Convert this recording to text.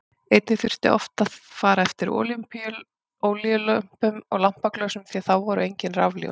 Einnig þurfti oft að fara eftir olíulömpum og lampaglösum því að þá voru engin rafljósin.